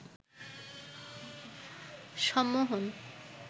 সম্মোহন